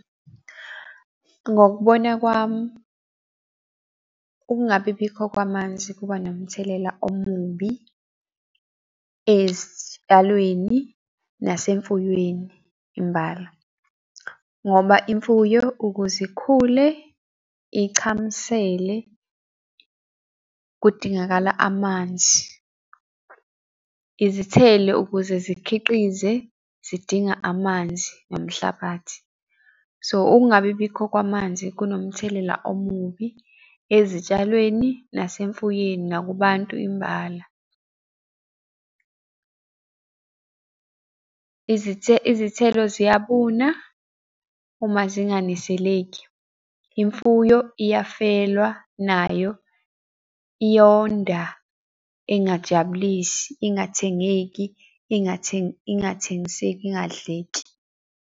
Ngokubona kwami, ukungabibikho kwamanzi kuba nomthelela omubi ezitshalweni, nasemfuyweni imbala. Ngoba imfuyo ukuze ikhule ichamisele kudingakala amanzi, izithelo ukuze zikhiqize zidinga amanzi nomhlabathi. So, ukungabibikho kwamanzi kunomthelela omubi ezitshalweni nasemfuyweni nakubantu imbala. Izithelo ziyabuna uma zinganiseleki, imfuyo iyafelwa nayo, iyonda ingajabulisi, ingathengeki, ingathengiseki, ingadleki.